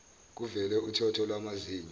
kuvele uthotho lwamazinyo